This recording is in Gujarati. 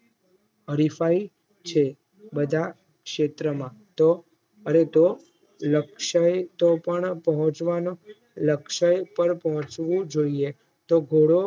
હરીફાઈ છે બધા ક્ષેત્રમાં તો લક્ષય તો પણ પોહ્ચવાનો લક્ષય પર પોંહચવું જોઈએ તો ઘોડો